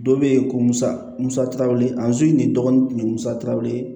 Dɔ be yen ko musa musakaw ye anzu nin dɔgɔnin kun ye musa ye